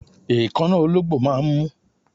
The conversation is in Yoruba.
Èékánná ológbò máà ń mú